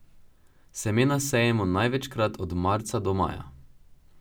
Semena sejemo največkrat od marca do maja.